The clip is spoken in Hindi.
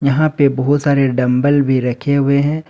यहां पे बहुत सारे डंबल भी रखे हुए हैं।